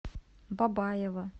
бабаево